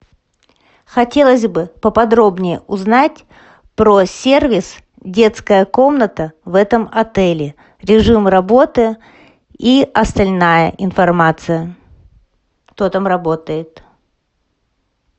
хотелось бы поподробнее узнать про сервис детская комната в этом отеле режим работы и остальная информация кто там работает